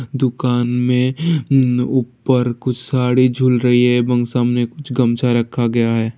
दुकान में उम ऊपर कुछ साड़ी झूल रही है और सामने कुछ गमछा रखा गया है।